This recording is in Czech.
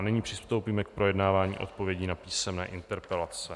A nyní přistoupíme k projednávání odpovědí na písemné interpelace.